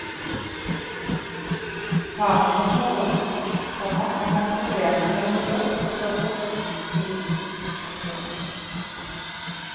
Faren var toller, komma og hadde problemer med å få jobb etter forbudstiden. punktum